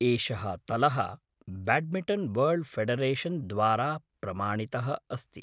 एषः तलः badminton world federation द्वारा प्रमाणितः अस्ति।